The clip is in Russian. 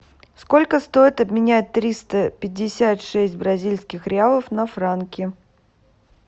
сколько стоит обменять триста пятьдесят шесть бразильских реалов на франки